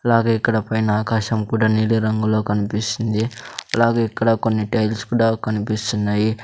అలాగే ఇక్కడ పైన ఆకాశం కూడా నీలి రంగులో కన్పిస్తుంది అలాగే ఇక్కడ కొన్ని టైల్స్ కూడా కనిపిస్తున్నాయి.